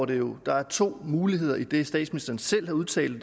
det jo at der er to muligheder i det statsministeren selv har udtalt